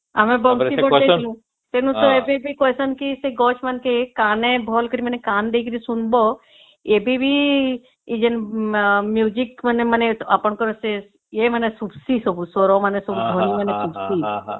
ଆମେ ବଂଶୀ ବଜେଇଲୁ ଵେନୁ ସେ ଦିଦି କହିଚନ ସେ ଗଛ ମାନଙ୍କରେ ଭଲସେ କାନ ଦେଇ କରି ଶୁଣିବା ଏବେ ବି ମାନେ ଆପଣଙ୍କର ସେ ୟେ ମାନେ ଶୁଭୁଚି ସବୁ ସେ ସ୍ୱର ମାନେ ଧ୍ୱନି ମାନେ ଶୁଣୁଛି ସବୁ